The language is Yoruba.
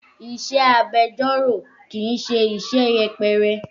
Iṣẹ́ agbẹjọ́rò kì í ṣe iṣẹ́ yẹpẹrẹ.